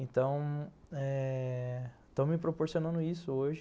Então, eh... estão me proporcionando isso hoje.